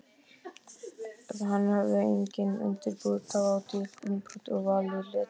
Hann hafði einnig undirbúið tvídálka umbrot og valið leturgerð.